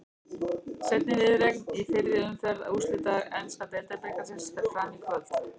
Seinni viðureignin í fyrri umferð úrslita enska deildabikarsins fer fram í kvöld.